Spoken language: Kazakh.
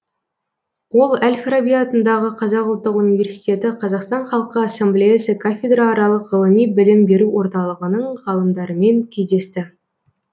ол әл фараби атындағы қазақ ұлттық университеті қазақстан халқы ассамблеясы кафедрааралық ғылыми білім беру орталығының ғалымдарымен кездесті